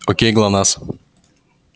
окей глонассс